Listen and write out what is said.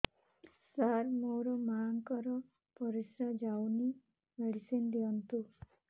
ସାର ମୋର ମାଆଙ୍କର ପରିସ୍ରା ଯାଉନି ମେଡିସିନ ଦିଅନ୍ତୁ